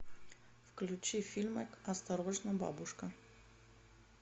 включи фильмик осторожно бабушка